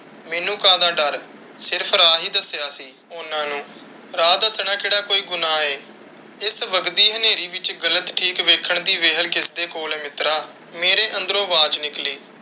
ਮੈਨੂੰ ਕਾਹਦਾ ਡੱਰ? ਸਿਰਫ਼ ਰਾਹ ਹੀ ਦੱਸਿਆ ਸੀ ਉਹਨਾਂ ਨੂੰ, ਰਾਹ ਦਸਣਾ ਕਿਹੜਾ ਕੋਈ ਗੁਨਾਹ ਹੈ? ਇਸ ਵੱਘਦੀ ਹਨੇਰੀ ਵਿੱਚ ਗ਼ਲਤ ਠੀਕ ਵੇਖਣ ਦੀ ਵੇਹਲ ਕਿਸਦੇ ਕੋਲ ਹੈ ਮਿੱਤਰਾ। ਮੇਰੇ ਅੰਦਰੋਂ ਆਵਾਜ਼ ਨਿਕਲੀ।